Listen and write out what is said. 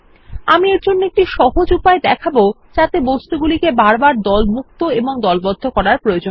আমি এর একটি সহজ উপায় দেখাবো যাতে বস্তুগুলি দলমুক্ত এবং দলবদ্ধ করার প্রয়োজন না হয়